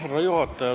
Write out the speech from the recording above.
Härra juhataja!